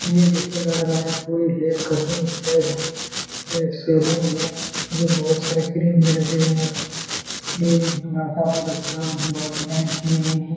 ये जैसे लग रहा है कोई हेयर कटिंग स्टाइल है ये एक सेलून है जो बहुत सारे क्रीम भी रखे गए है और ये लड़का बहुत अच्छा बहुत डिजाइन किए गए हैं।